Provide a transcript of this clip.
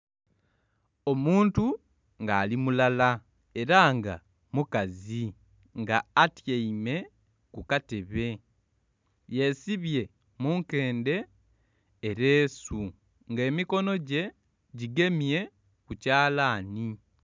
Omuntu nga ali mulala era nga mukazi nga atyaime kukatebe yesibye munkende ereesu nga emikono gye gigemye kukyalani.